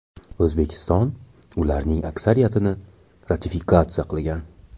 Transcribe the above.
O‘zbekiston ularning aksariyatini ratifikatsiya qilgan.